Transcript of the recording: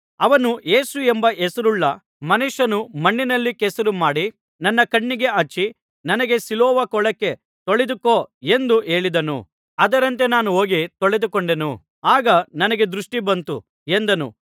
ಅವನು ಯೇಸು ಎಂಬ ಹೆಸರುಳ್ಳ ಮನುಷ್ಯನು ಮಣ್ಣಿನಲ್ಲಿ ಕೆಸರು ಮಾಡಿ ನನ್ನ ಕಣ್ಣಿಗೆ ಹಚ್ಚಿ ನನಗೆ ಸಿಲೋವ ಕೊಳಕ್ಕೆ ಹೋಗಿ ತೊಳೆದುಕೋ ಎಂದು ಹೇಳಿದನು ಅದರಂತೆ ನಾನು ಹೋಗಿ ತೊಳೆದುಕೊಂಡೆನು ಆಗ ನನಗೆ ದೃಷ್ಟಿ ಬಂತು ಎಂದನು